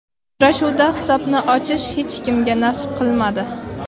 Uchrashuvda hisobni ochish hech kimga nasib qilmadi.